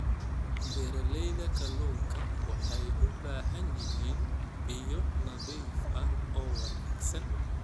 Beeralayda kalluunka waxay u baahan yihiin biyo nadiif ah oo wanaagsan.